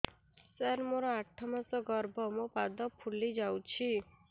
ସାର ମୋର ଆଠ ମାସ ଗର୍ଭ ମୋ ପାଦ ଫୁଲିଯାଉଛି